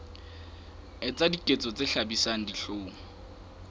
etsa diketso tse hlabisang dihlong